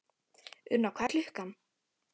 Unna, hvað er klukkan?